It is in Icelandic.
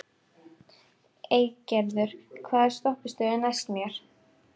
Eygerður, hvaða stoppistöð er næst mér?